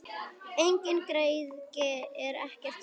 Engin græðgi og ekkert stress!